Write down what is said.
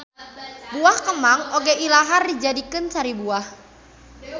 Buah kemang oge ilahar dijadikeun sari buah